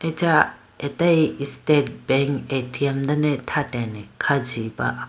Acha atayi state bank A_T_M dane thratene kha jiyi ba.